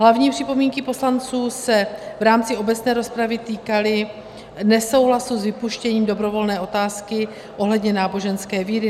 Hlavní připomínky poslanců se v rámci obecné rozpravy týkaly nesouhlasu s vypuštěním dobrovolné otázky ohledně náboženské víry.